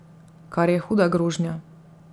Kar je huda grožnja.